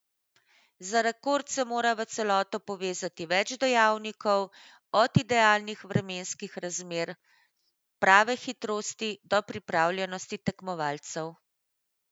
Za rekord se mora v celoto povezati več dejavnikov, od idealnih vremenskih razmer, prave hitrosti do pripravljenosti tekmovalcev.